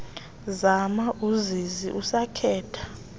gama uzizi esakhetha